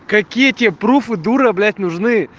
какие тебе пруфы дура блять нужны